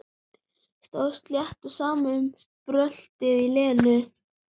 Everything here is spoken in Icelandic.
Stóð slétt á sama um bröltið í Lenu.